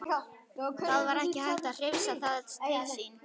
Það var ekki hægt að hrifsa það til sín.